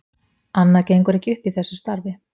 Annað gengur ekki upp í þessu starfi.